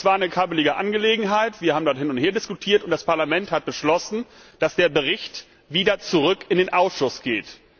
Es war eine kabbelige Angelegenheit, wir haben hin und her diskutiert, und das Parlament hat beschlossen, dass der Bericht wieder zurück in den Ausschuss geht.